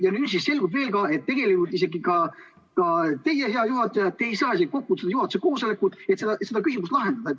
Ja nüüd selgub, et tegelikult isegi teie, hea juhataja, ei saa kokku kutsuda juhatuse koosolekut, et see küsimus lahendada.